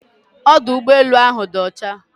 Ọdụ ụgbọelu áhù dị ọcha